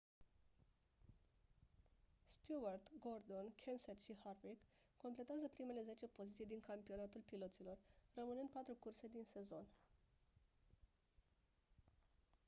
stewart gordon kenseth și harvick completează primele zece poziții din campionatul piloților rămânând patru curse din sezon